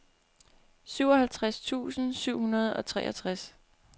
syvoghalvtreds tusind syv hundrede og treogtres